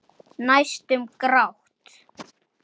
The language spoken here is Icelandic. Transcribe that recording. Allir aðrir eru farnir.